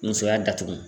Musoya datugu